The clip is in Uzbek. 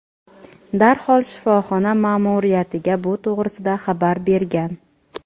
darhol shifoxona ma’muriyatiga bu to‘g‘risida xabar bergan.